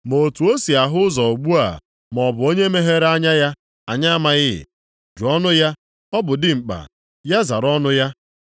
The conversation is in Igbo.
Ma otu o si ahụ ụzọ ugbu a maọbụ onye meghere anya ya, anyị amaghị. Jụọnụ ya. Ọ bụ dimkpa, ya zara ọnụ ya.”